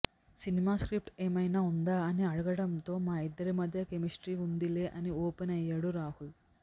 cinema script ఏమైనా ఉందా అని అడగటంతో మా ఇద్దరి మధ్య కెమిస్ట్రీ ఉందిలే అని ఓపెన్ అయ్యాడు రాహుల్